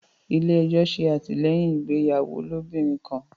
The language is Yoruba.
ilé ejo se atilẹyin ìgbéyàwó ilobirin kán.